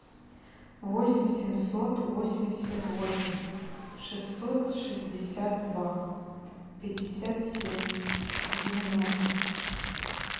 восемь семьсот восемьдесят восемь шестьсот шестьдесят два пятьдесят семь девяносто